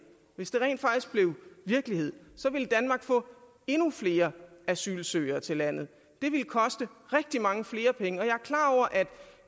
hvis det rent faktisk blev virkelighed så ville danmark få endnu flere asylansøgere til landet det ville koste rigtig mange flere penge og